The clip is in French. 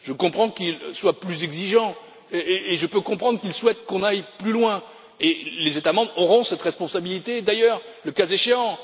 Je comprends qu'il soit plus exigeant, et je peux comprendre qu'il souhaite qu'on aille plus loin, et les États membres auront cette responsabilité d'ailleurs, le cas échéant.